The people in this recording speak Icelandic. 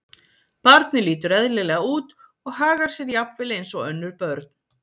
Barnið lítur eðlilega út og hagar sér jafnvel eins og önnur börn.